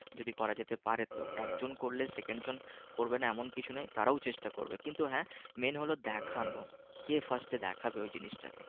যদি করা যেতে পারে তো একজন করলে সেকেন্ড জন করবে না এমন কিছু নয় তারাও চেষ্টা করবে কিন্তু হ্যাঁ main হলো দেখানো কে fast এ দেখাবে ওই জিনিসটা কে